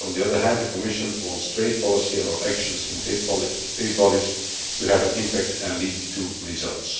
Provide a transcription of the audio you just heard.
On the other hand, the Commission wants trade policy and our actions in trade bodies to have an impact and lead to results.